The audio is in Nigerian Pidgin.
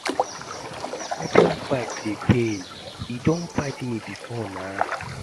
Make I no lie, scorpion bite dey pain. E don bite me before nah